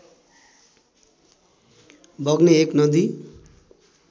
बग्ने एक नदी